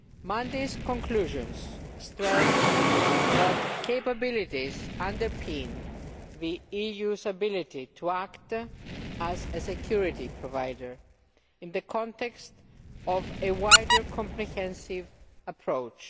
Monday's conclusions stressed that capabilities underpin the EU's ability to act as a security provider in the context of a wider comprehensive approach.